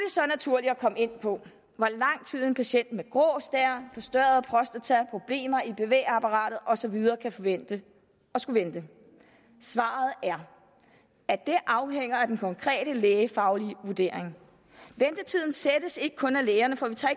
så naturligt at komme ind på hvor lang tid en patient med grå stær forstørret prostata problemer i bevægeapparatet og så videre kan forvente at skulle vente svaret er at det afhænger af den konkrete lægefaglige vurdering ventetiden sættes ikke kun af lægerne for vi tager